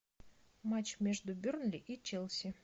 матч между бернли и челси